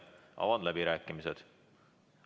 Avan läbirääkimised.